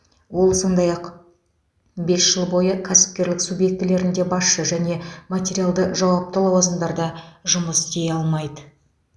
ол сондай ақ бес жыл бойы кәсіпкерлік субъектілерінде басшы және материалды жауапты лауазымдарда жұмыс істей алмайды